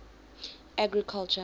agriculture